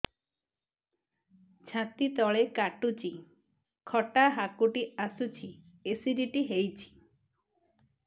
ଛାତି ତଳେ କାଟୁଚି ଖଟା ହାକୁଟି ଆସୁଚି ଏସିଡିଟି ହେଇଚି